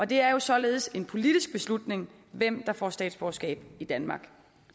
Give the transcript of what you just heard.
det er jo således en politisk beslutning hvem der får statsborgerskab i danmark